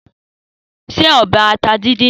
Se ọbẹ̀ ata díndín náà.